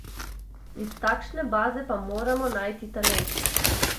Iz takšne baze pa moramo najti talente.